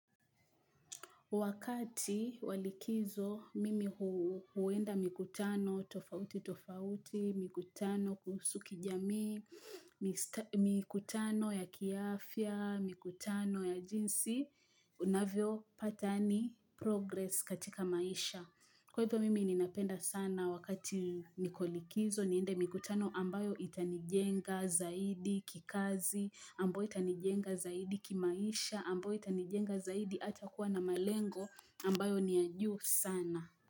Wakati walikizo mimi huenda mikutano tofauti tofauti, mikutano kuhusu kijamii, mikutano ya kiafya, mikutano ya jinsi, unavyo pata progress katika maisha. Kwa hivyo mimi ninapenda sana wakati nikolikizo niende mikutano ambayo itanijenga zaidi kikazi, ambayo itanijenga zaidi kimaisha, ambayo itanijenga zaidi hata kuwa na malengo ambayo niya juu sana.